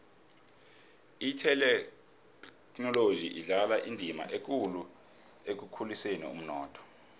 ithekhinoloji idlala indima ekulu ekukhuliseni umnotho